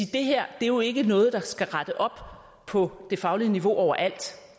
her er jo ikke noget der skal rette op på det faglige niveau overalt